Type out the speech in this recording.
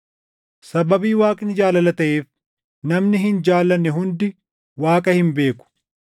Sababii Waaqni jaalala taʼeef, namni hin jaallanne hundi Waaqa hin beeku.